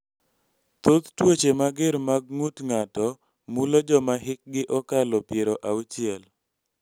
Thoth tuoche mager mag ng�ut ng�ato mulo joma hikgi okadho piero auchiel.